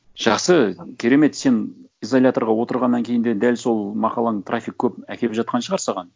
жақсы керемет сен изоляторға отырғаннан кейін де дәл сол мақалаң трафик көп әкеліп жатқан шығар саған